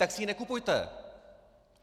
Tak si ji nekupujte!